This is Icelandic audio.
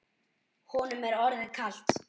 Honum er orðið kalt.